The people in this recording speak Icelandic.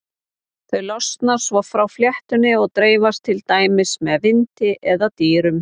Þau losna svo frá fléttunni og dreifast til dæmis með vindi eða dýrum.